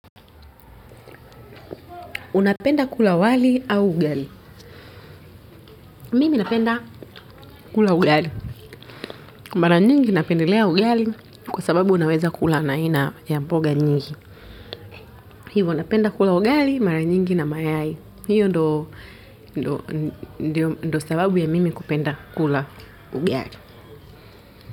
Unapenda kula wali au ugali. Mimi napenda kula ugali. Mara nyingi napendelea ugali kwa sababu unaweza kula na aina ya mpoga nyingi. Hivyo napenda kula ugali mara nyingi na mayai. Hiyo ndiyo sababu ya mimi kupenda kula ugali.